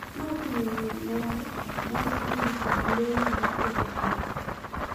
Ma oting’o ng’iyo mare ma okrum kod lendo ma ketho pach—